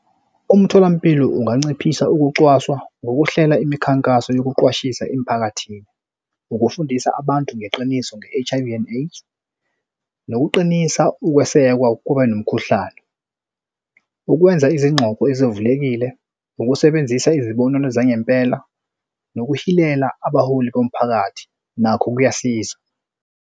Umtholampilo unganciphisa ukucwaswa ngokuhlela imikhankaso yokuqwashisa emiphakathini, ukufundisa abantu ngeqiniso nge-H_I_V and AIDS, nokuqinisa ukwesekwa kwakubanomkhuhlane, ukwenza izingxoxo ezivulekile, ukusebenzisa izibonelo zangempela, nokuhilela abaholi bomphakathi nakho kuyasiza.